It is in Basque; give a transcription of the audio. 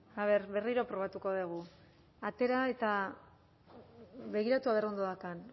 a ver berriro probatuko dugu atera eta begiratu a ver ondo daukan